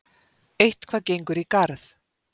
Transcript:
Eitthvað gengur í garð